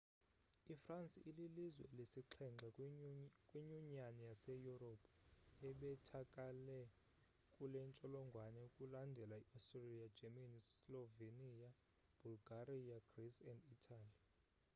ifransi ililizwe lesixhenxe kwinyunyani yase europe ebethakele kulentsholongwane; kulandele i austria germany, slovenia, bulgaria greece and italy